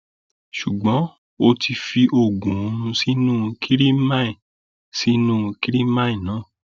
ṣùgbọn ó ti fi oògùn oorun sínú kirimine sínú kirimine náà